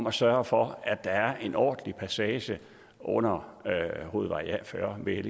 at sørge for at der er en ordentlig passage under hovedvej fyrre ved